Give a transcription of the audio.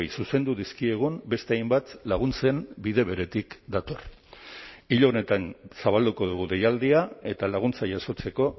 zuzendu dizkiegun beste hainbat laguntzen bide beretik dator hil honetan zabalduko dugu deialdia eta laguntza jasotzeko